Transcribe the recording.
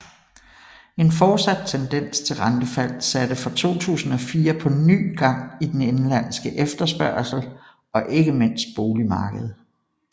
En fortsat tendens til rentefald satte fra 2004 på ny gang i den indenlandske efterspørgsel og ikke mindst boligmarkedet